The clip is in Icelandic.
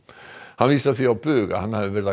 hann vísar því á bug að hann hafi verið að